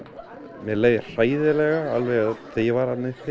mér leið hræðilega þegar ég var þarna uppi